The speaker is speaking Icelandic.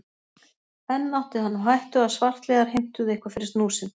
Enn átti hann á hættu að svartliðar heimtuðu eitthvað fyrir snúð sinn.